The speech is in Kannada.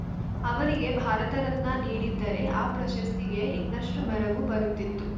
ಅವರಿಗೆ ಭಾರತರತ್ನ ನೀಡಿದ್ದರೆ ಆ ಪ್ರಶಸ್ತಿಗೇ ಇನ್ನಷ್ಟುಮೆರಗು ಬರುತ್ತಿತ್ತು